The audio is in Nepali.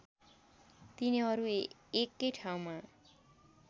तिनीहरू एकै ठाउँमा